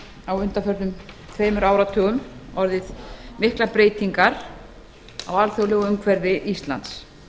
á undanförnum tveimur áratugum orðið miklar breytingar á alþjóðlegu umhverfi íslands